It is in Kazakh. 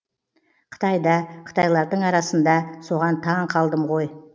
қытайда қытайлардың арасында соған таң қалдымғой